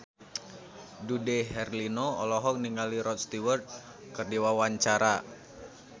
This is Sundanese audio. Dude Herlino olohok ningali Rod Stewart keur diwawancara